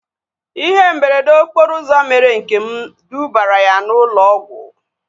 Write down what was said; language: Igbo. Ihe mberede okporo ụzọ mere Nkem dubara ya na ụlọ ọgwụ